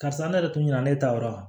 Karisa ne yɛrɛ tun ɲɛna ne taayɔrɔ la